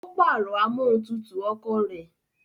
Ó pàrọ̀ amóhuntutù ọkọ̀ rẹ̀